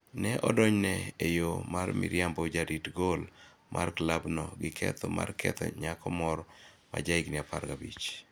Ne odonjne e yo mar miriambo jarit gol mar klabno gi ketho mar ketho nyako moro ma jahigini apar gabich.